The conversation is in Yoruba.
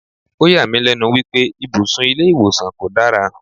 O yà mí lénu wípé ibùsùn ilé ìwòsàn kò dára.